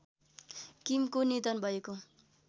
किमको निधन भएको